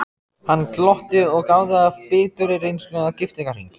Hann glotti og gáði af biturri reynslu að giftingarhring.